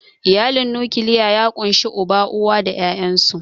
Iyalin nukiliya ya ƙunshi Uba, Uwa, da ƴaƴansu.